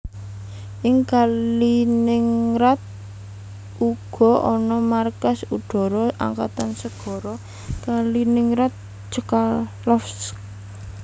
Ing Kaliningrad uga ana markas udhara angkatan segara Kaliningrad Chkalovsk